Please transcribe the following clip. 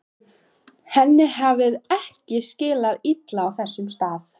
Henni hefur ekki liðið illa á þessum stað.